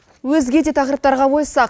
өзге де тақырыптарға ойыссақ